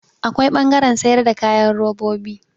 Akwai ɓangaren sayar da kayan robobi.